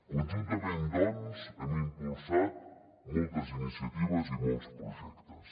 conjuntament doncs hem impulsat moltes iniciatives i molts projectes